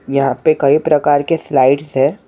यहाँ पे कई प्रकार के स्लाइड्स हैं ।